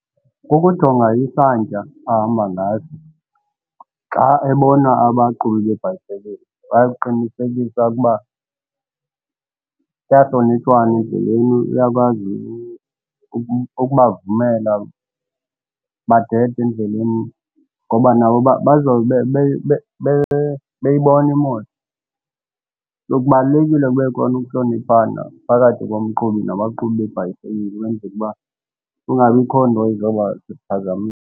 Kukujonga isantya ahamba ngaso xa ebona abaqhubi beebhayisekile baye kuqinisekisa ukuba kuyahlonitshwana endleleni uyakwazi ukubavumela badede endleleni ngoba nabo bazawube beyibona imoto. So, kubalulekile kube khona ukuhloniphana phakathi komqhubi nabaqhubi beebhayisikili ukwenzele uba kungabikho nto izoba sisiphazamisi.